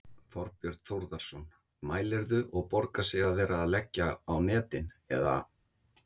Þorbjörn Þórðarson: Mælirðu, og borgar sig að vera að leggja á netin, eða?